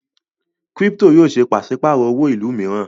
Kírípítò yòó ṣe pàṣípàrọ̀ owó ìlú mìíràn.